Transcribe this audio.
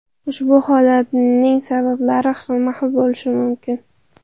Ushbu holatning sabablari xilma-xil bo‘lishi mumkin.